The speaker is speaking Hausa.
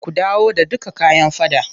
Ku dawo da dukka kayan faɗan.